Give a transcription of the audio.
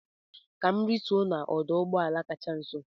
Ka m rituo n'ọdụ ụgbọ ala kacha nso